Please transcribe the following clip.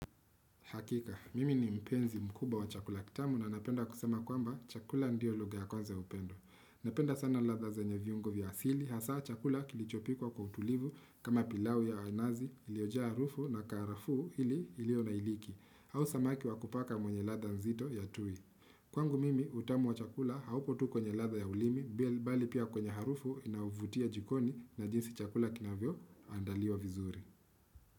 Hakika, mimi ni mpenzi mkubwa wa chakula kitamu na napenda kusema ya kwamba, chakula ndio lugha ya kwanza ya upendo. Napenda sana ladha zenye viungo vya asili. Hasa chakula kilichopikwa kwa utulivu kama pilau ya nazi iliyojaa harufu na karafu ili ilionailiki. Au samaki wa kupaka mwenye ladha nzito ya tui. Kwangu mimi utamu wa chakula, haupo tu kwenye ladha ya ulimi, bali pia kwenye harufu, inayovutia jikoni na jinsi chakula kinavyo andaliwa vizuri.